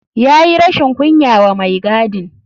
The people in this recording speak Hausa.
Ya yi rashin kunya wa mai gadin.